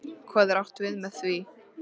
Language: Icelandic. Hvað er átt við með því?